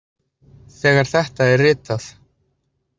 Þegar þetta er ritað.